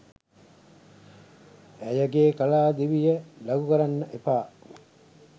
ඇයගේ කලා දිවිය ලඝු කරන්න එපා.